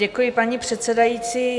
Děkuji, paní předsedající.